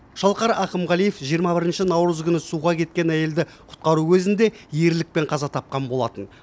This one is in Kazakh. шалқар ақымғалиев жиырма бірінші наурыз күні суға кеткен әйелді құтқару кезінде ерлікпен қаза тапқан болатын